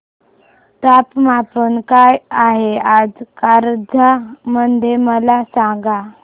तापमान काय आहे आज कारंजा मध्ये मला सांगा